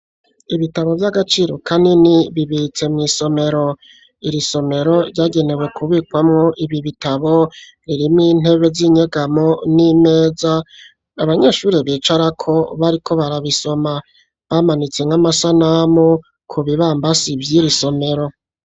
Ibitabo vy'agaciro kanini bibitse mwisomero, iri somero vyagenewe kubikwamwo ibitabo ririmwo intebe ry'inyegamo n'imeza abanyeshure bicarako bariko barabisoma bamanitse nk'amasanamu ku bibambazi vyiri somero.